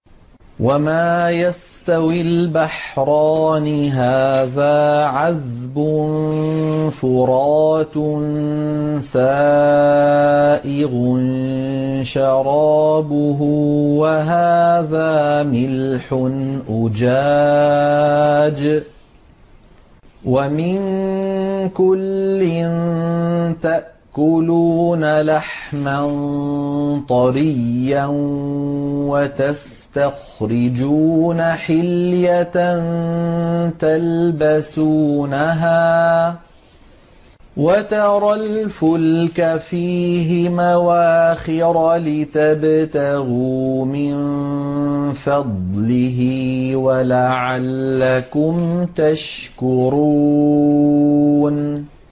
وَمَا يَسْتَوِي الْبَحْرَانِ هَٰذَا عَذْبٌ فُرَاتٌ سَائِغٌ شَرَابُهُ وَهَٰذَا مِلْحٌ أُجَاجٌ ۖ وَمِن كُلٍّ تَأْكُلُونَ لَحْمًا طَرِيًّا وَتَسْتَخْرِجُونَ حِلْيَةً تَلْبَسُونَهَا ۖ وَتَرَى الْفُلْكَ فِيهِ مَوَاخِرَ لِتَبْتَغُوا مِن فَضْلِهِ وَلَعَلَّكُمْ تَشْكُرُونَ